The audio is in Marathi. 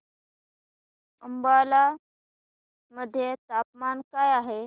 अंबाला मध्ये तापमान काय आहे